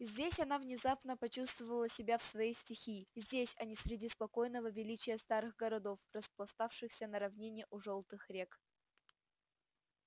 здесь она внезапно почувствовала себя в своей стихии здесь а не среди спокойного величия старых городов распластавшихся на равнине у жёлтых рек